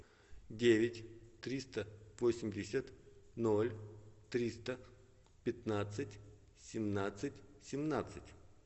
девять триста восемьдесят ноль триста пятнадцать семнадцать семнадцать